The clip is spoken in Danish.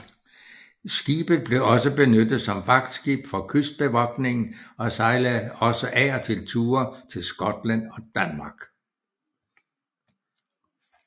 Skibet blev også benyttet som vagtskib for kystbevogtningen og sejlede også af og til ture til Skotland og Danmark